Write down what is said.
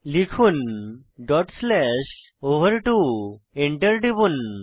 লিখুন dot slash ওভার2 Enter টিপুন